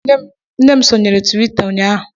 Nne m sonyeere Twita ụnyahụ